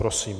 Prosím.